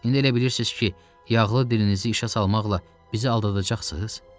İndi elə bilirsiz ki, yağlı dilinizi işə salmaqla bizi aldadacaqsınız?